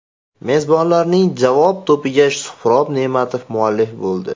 Mezbonlarning javob to‘piga Suhrob Ne’matov muallif bo‘ldi.